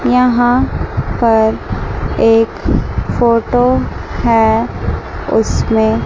यहां पर एक फोटो है उसमें--